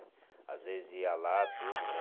Às vezes ia lá, tudo, né?